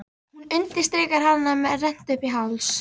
Hún undirstrikar hana með rennt uppí háls.